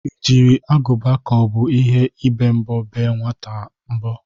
Ị jiri agụba ka ọ bụ ihe ibe mbọ bee nwaata a mbọ?